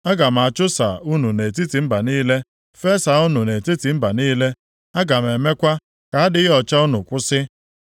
Aga m achụsa unu nʼetiti mba niile, fesaa unu nʼetiti mba niile. Aga m emekwa ka adịghị ọcha unu kwụsị.